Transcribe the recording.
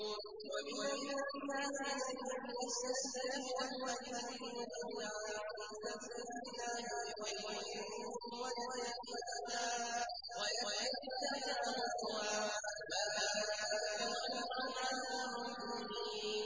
وَمِنَ النَّاسِ مَن يَشْتَرِي لَهْوَ الْحَدِيثِ لِيُضِلَّ عَن سَبِيلِ اللَّهِ بِغَيْرِ عِلْمٍ وَيَتَّخِذَهَا هُزُوًا ۚ أُولَٰئِكَ لَهُمْ عَذَابٌ مُّهِينٌ